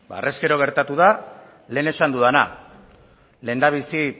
ba harrezkero gertatu da lehen esan dudana lehendabizi